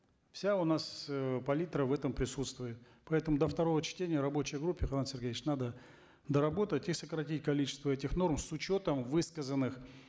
вся у нас э палитра в этом присутствует поэтому до второго чтения в рабочей группе канат сергеевич надо доработать и сократить количество этих норм с учетом высказанных